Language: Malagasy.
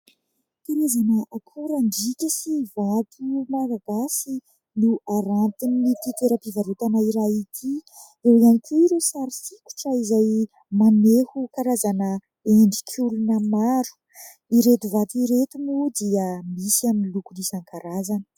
Karazana akorandriaka sy vato Malagasy no arantin'ity toeram-pivarotana iray ity. Eo ihany koa ireo sary sokitra izay maneho karazana endrik'olona maro. Ireto vato ireto moa dia misy amin'ny loko isankarazany.